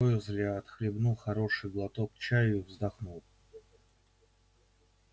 уизли отхлебнул хороший глоток чаю вздохнул